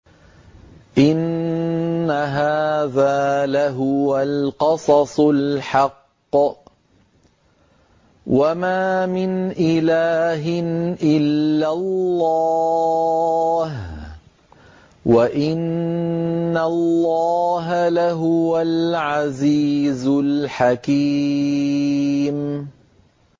إِنَّ هَٰذَا لَهُوَ الْقَصَصُ الْحَقُّ ۚ وَمَا مِنْ إِلَٰهٍ إِلَّا اللَّهُ ۚ وَإِنَّ اللَّهَ لَهُوَ الْعَزِيزُ الْحَكِيمُ